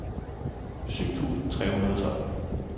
syv tusind tre hundrede og tolv